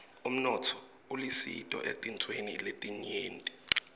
umnotfo ulisito etintfweni letinyenti